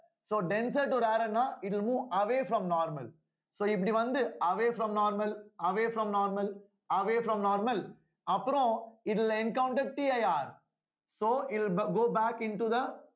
so denser to rarer ன்னா it will move away from normal so இப்படி வந்து away from normal away from normal away from normal அப்புறம் இதுல encounterCIRso இது go back into the